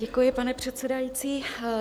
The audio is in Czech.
Děkuji, pane předsedající.